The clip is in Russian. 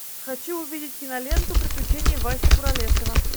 хочу увидеть киноленту приключения васи куролесова